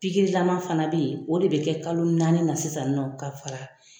fana bɛ yen o de bɛ kɛ kalo naani na sisan nɔ ka fara.